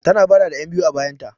Tana bara da 'yanbiyu a bayanta.